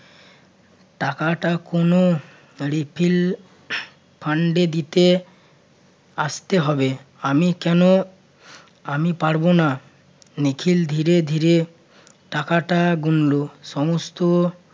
টাকাটা কোনো refill fund এ দিতে আসতে হবে। আমি কেন আমি পারবো না। নিখিল ধীরে ধীরে টাকাটা গুনল। সমস্ত